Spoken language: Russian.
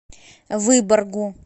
выборгу